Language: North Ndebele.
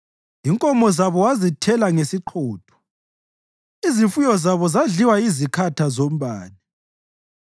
Inkomo zabo wazithela ngesiqhotho, izifuyo zabo zadliwa yizikhatha zombane.